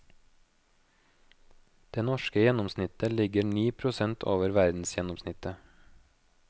Det norske gjennomsnittet ligger ni prosent over verdensgjennomsnittet.